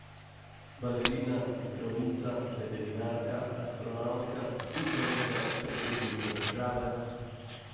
Balerina, zdravnica, veterinarka, astronavtka, kuharica, predsednica države ...